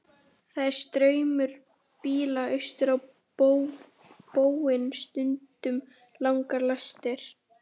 Það er straumur bíla austur á bóginn, stundum langar lestir.